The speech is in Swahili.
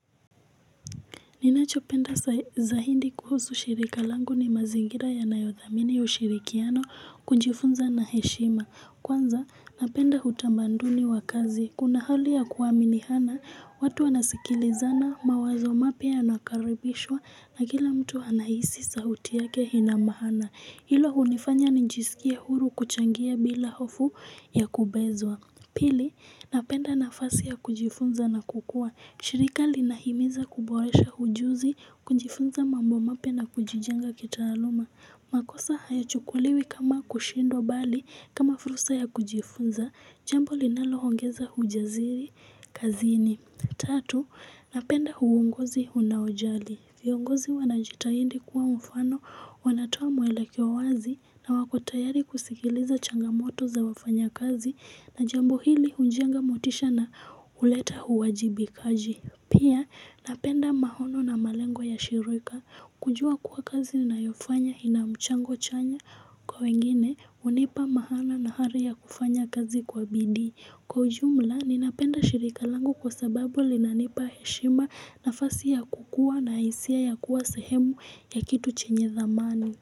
Ninachopenda za hindi kuhusu shirika lango ni mazingira ya nayothamini ushirikiano kunjifunza na heshima. Kwanza napenda hutambanduni wa kazi. Kuna hali ya kuwaminihana watu anasikilizana mawazo mape ya nakaribishwa na gila mtu anaisi sahuti yake inamahana. Hilo unifanya ninjisikia huru kuchangia bila hofu ya kubezwa. Pili napenda na fasi ya kujifunza na kukua. Shirika linahimiza kuboresha hujuzi, kunjifunza mambo mapena kujijenga kitaluma makosa haya chukuliwi kama kushindo bali, kama furusa ya kunjifunza, jambo linalo hongeza hujaziri kazini Tatu, napenda huungozi unaojali Fiongozi wanajita hindi kuwa mfano, wanatua mwele kiowazi na wakotayari kusikiliza changamoto za wafanya kazi na jambo hili unjenga motisha na uleta huwajibi kaji. Pia napenda mahono na malengo ya shirika. Kujua kuwa kazi na yofanya inamchango chanya kwa wengine unipa mahana na hari ya kufanya kazi kwa bidii. Kwa ujumla, ninapenda shirika langu kwa sababu linanipa heshima nafasi ya kukua na isia ya kuwa sehemu ya kitu chenye zamani.